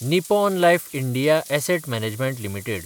Nippon Life India Asset Management limited